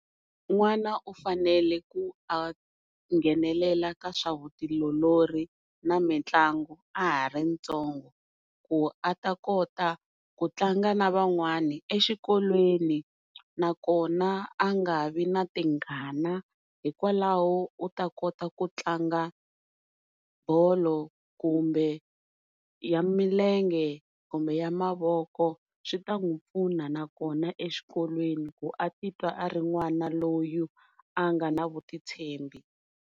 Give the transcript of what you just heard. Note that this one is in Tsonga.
N'wana u fanele ku a nghenelela ka swa vutiolori na mitlangu a ha ri ntsongo ku a ta kota ku tlanga na van'wana exikolweni nakona a nga vi na tingana hikwalaho u ta kota ku tlanga bolo kumbe ya milenge kumbe ya mavoko swi ta n'wi pfuna nakona exikolweni ku a ti twa a ri n'wana loyi a nga na vutitshembi.